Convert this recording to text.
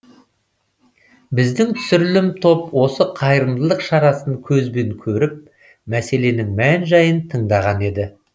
біздің түсірілім топ осы қайырымдылық шарасын көзбен көріп мәселенің мән жайын тыңдаған еді